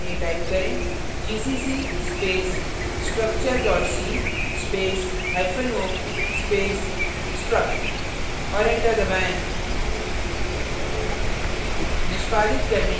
compile करने के लिए type करें gcc space structure c space hyphen o space struct और enter दबाएँ